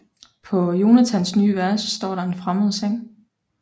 På Jonathans nye værelse står der en fremmed seng